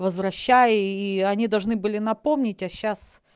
возвращай и они должны были напомнить о сейчас